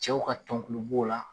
Cɛw ka tɔnkulu b'o la